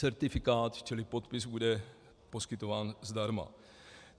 Certifikát čili podpis bude poskytován zdarma.